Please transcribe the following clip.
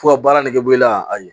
Fo ka baara nege bɔ i la a ɲɛ